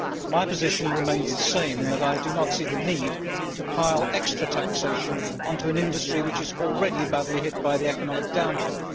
My position remains the same in that I do not see the need to pile extra taxation onto an industry which is already badly hit by the economic downturn.